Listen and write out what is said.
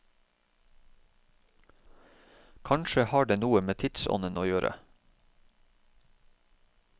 Kanskje har det noe med tidsånden å gjøre.